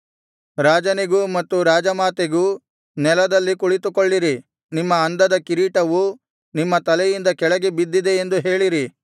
ರಾಜನಿಗೂ ಮತ್ತು ರಾಜಮಾತೆಗೂ ನೆಲದಲ್ಲಿ ಕುಳಿತುಕೊಳ್ಳಿರಿ ನಿಮ್ಮ ಅಂದದ ಕಿರೀಟವು ನಿಮ್ಮ ತಲೆಯಿಂದ ಕೆಳಗೆ ಬಿದ್ದಿದೆ ಎಂದು ಹೇಳಿರಿ